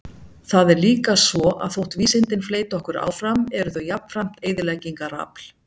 Það er líka svo, að þótt vísindin fleyti okkur áfram eru þau jafnframt eyðileggingarafl.